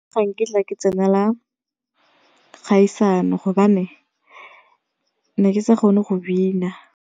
Ga nkitla ke tsenala kgaisano gobane ne ke sa kgone go bina.